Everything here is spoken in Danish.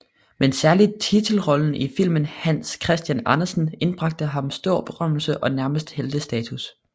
Men særligt titelrollen i filmen Hans Christian Andersen indbragte ham stor berømmelse og nærmest heltestatus